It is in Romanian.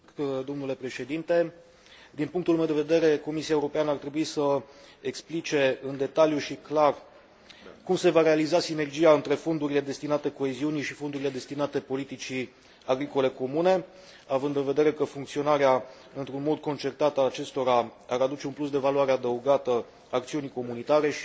Din punctul meu de vedere, Comisia Europeană ar trebui să explice în detaliu și clar cum se va realiza sinergia între fondurile destinate coeziunii și fondurile destinate politicii agricole comune, având în vedere că funcționarea într un mod concertat al acestora ar aduce un plus de valoare adăugată acțiunii comunitare și ar duce,